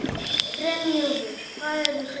Brynjúlfur, hvað er klukkan?